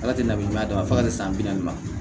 Ala tɛ na ɲuman d'a ma fo ka se san bi naani ma